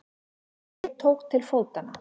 Ég tók til fótanna.